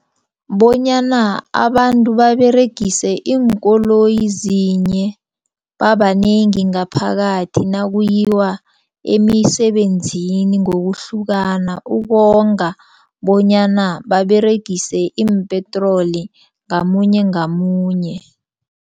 Bonyana abantu baberegise iinkoloyi zinye babanengi ngaphakathi. Nakuyiwa emisebenzini ngokuhlukana ukonga bonyana baberegise iimpetroli ngamunye ngamunye.